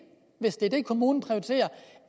hvis det er det kommunen prioriterer